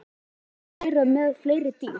Magnús: Þið eruð með fleiri dýr?